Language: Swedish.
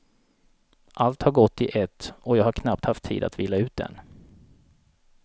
Allt har gått i ett och jag har knappt haft tid att vila ut än.